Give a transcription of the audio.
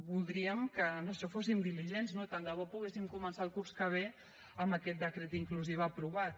voldríem que en això fossin diligents no i tant de bo poguéssim començar el curs que ve amb aquest decret d’inclusiva aprovat